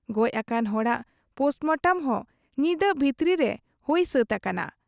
ᱜᱚᱡ ᱟᱠᱟᱱ ᱦᱚᱲᱟᱜ ᱯᱳᱥᱴᱢᱚᱴᱚᱢ ᱦᱚᱸ ᱧᱤᱫᱟᱹ ᱵᱷᱤᱛᱨᱟᱹ ᱨᱮ ᱦᱩᱭ ᱥᱟᱹᱛ ᱟᱠᱟᱱᱟ ᱾